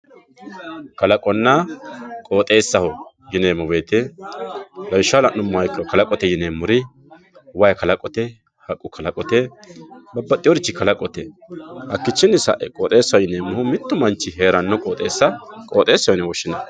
kalaqonna qoxeessaho yineemmo woyte lawishshaho la'nummoha ikkiro kalaqote yineemmori wayi kalaqote haqqu kalaqote babbaxeworichi kalaqote hakkiihichinni sae qoxeessa yineemmohu mittu manchi heerannowa qooxeessa yine woshshineemmo